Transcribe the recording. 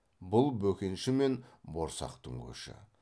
бұл бөкенші мен борсақтың көші